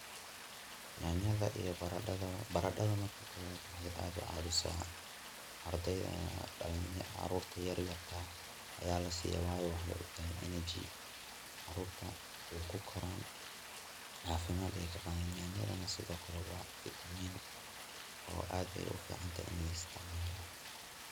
nyaaanyada iyo baradhada, baradhada marka kobad waxay aad u caabisaa carurta yaryarka aya laasiya wayo waxay utahay energy carurta way kukoran, caafimad ayay ka qaadan, nyaanyadana sidokale waa fitamiin oo aad ayay uficantahay ini la isticmaalo